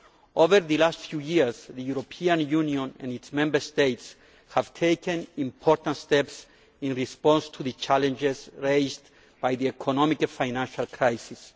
Over the last few years, the European Union and its Member States have taken important steps in response to the challenges raised by the economic and financial crisis.